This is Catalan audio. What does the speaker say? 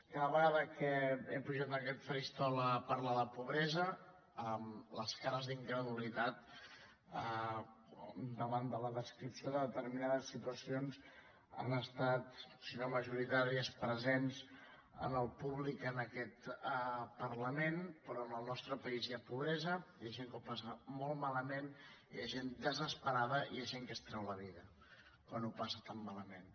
cada vegada que he pujat a aquest faristol a parlar de pobresa les cares d’incredulitat davant de la descripció de determinades situacions han estat si no majoritàries presents en el públic en aquest parlament però en el nostre país hi ha pobresa hi ha gent que ho passa molt malament hi ha gent desesperada i hi ha gent que es treu la vida quan ho passa tan malament